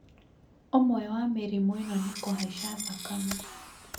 ũmwe wa mĩrimũ ĩno nĩ kuhaica thakame